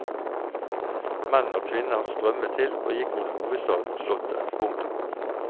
Menn og kvinner strømmet til og gikk mot hovedstaden og slottet. punktum